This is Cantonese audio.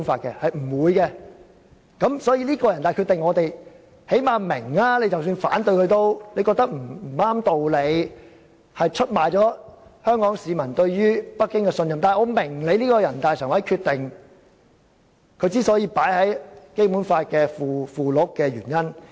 因此，即使我們反對這決定，認為這決定沒有道理，出賣了香港市民對北京的信任，然而，最少我們明白把這決定納入《基本法》附件的原因。